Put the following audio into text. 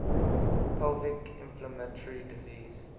pelvic inflammatory disease